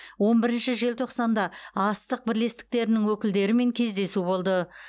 он бірінші желтоқсанда астық бірлестіктерінің өкілдерімен кездесу болды